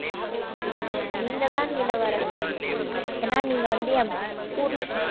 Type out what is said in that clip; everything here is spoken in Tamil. நீங்க தான் இளவரசன் ஏன்னா நீங்க வந்து என் புருசன்